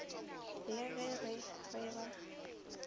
le ge re re ba